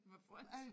Med frynser?